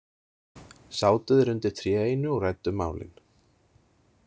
Sátu þeir undir tré einu og ræddu málin.